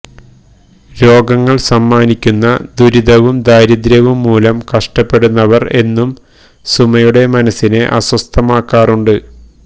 രോഗങ്ങള് സമ്മാനിക്കുന്ന ദുരിതവും ദാരിദ്ര്യവും മൂലം കഷ്ടപ്പെടുന്നവര് എന്നും സുമയുടെ മനസിനെ അസ്വസ്ഥമാക്കാറുണ്ട്